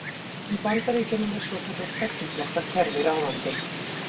Í Bandaríkjunum er svokallað tveggja flokka kerfi ráðandi.